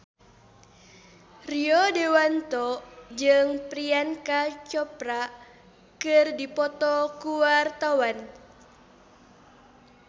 Rio Dewanto jeung Priyanka Chopra keur dipoto ku wartawan